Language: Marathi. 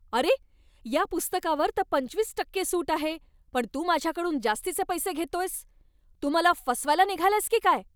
अरे! या पुस्तकावर तर पंचवीस टक्के सूट आहे, पण तू माझ्याकडून जास्तीचे पैसे घेतोयस. तू मला फसवायला निघालायस की काय?